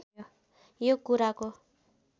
यो कुराको